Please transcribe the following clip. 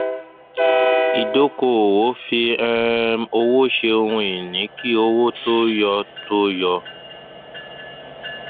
ìdókòòwò fí um owó ṣe ohun ìní kí owó tó yọ tó yọ